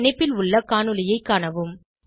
இந்த இணைப்பில் உள்ள காணொளியைக் காணவும்